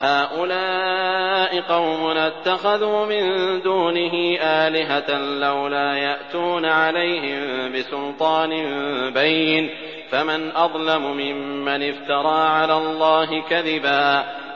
هَٰؤُلَاءِ قَوْمُنَا اتَّخَذُوا مِن دُونِهِ آلِهَةً ۖ لَّوْلَا يَأْتُونَ عَلَيْهِم بِسُلْطَانٍ بَيِّنٍ ۖ فَمَنْ أَظْلَمُ مِمَّنِ افْتَرَىٰ عَلَى اللَّهِ كَذِبًا